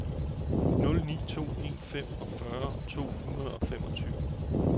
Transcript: nul ni to en femogfyrre to hundrede og femogtyve